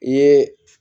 I ye